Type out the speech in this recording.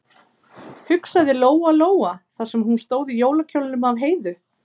hugsaði Lóa-Lóa þar sem hún stóð í jólakjólnum af Heiðu.